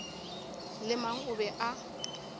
le mang o be a